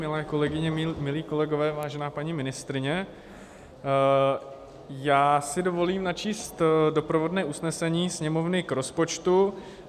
Milé kolegyně, milí kolegové, vážená paní ministryně, já si dovolím načíst doprovodné usnesení Sněmovny k rozpočtu.